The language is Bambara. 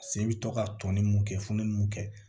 Se i bɛ to ka tɔnni mun kɛ fununni mun kɛ